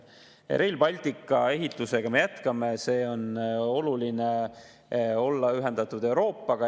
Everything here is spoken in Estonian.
Rail Balticu ehitust me jätkame, see on oluline, et olla ühendatud Euroopaga.